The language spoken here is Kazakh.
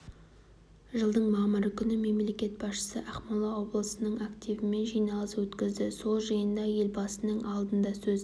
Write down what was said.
жылдың мамыры күні мемлекет басшысы ақмола облысының активімен жиналыс өткізді сол жиында елбасының алдында сөз